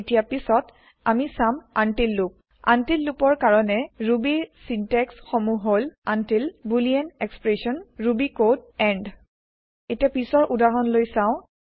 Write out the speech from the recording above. এতিয়া পিছত আমি চাম আনটিল লুপ আনটিল লুপ ৰ কাৰনে ৰুবিৰ ছিন্তেক্স সমুহ হল until boolean expression Ruby code end এতিয়া পিছৰ উদাহৰণ লৈ চাওঁ